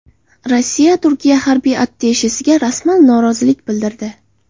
Rossiya Turkiya harbiy attashesiga rasman norozilik bildirdi.